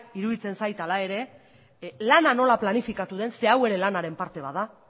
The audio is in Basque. iruditzen zait hala ere lana nola planifikatu den zeren eta hau ere lanaren parte bat da